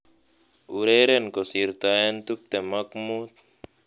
Ureren kosirtoen tuptem ak mutu